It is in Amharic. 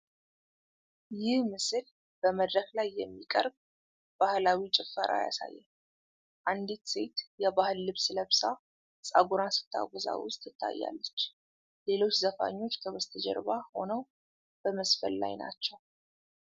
ይህ ምስል በመድረክ ላይ የሚቀርብ ባህላዊ ጭፈራ ያሳያል:: አንዲት ሴት የባህል ልብስ ለብሳ ፀጉሯን ስትወዛወዝ ትታያለች:: ሌሎች ዘፋኞች ከበስተጀርባ ሆነው በመዝፈን ላይ ናቸው::